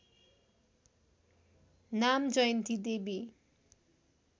नाम जयन्ती देवी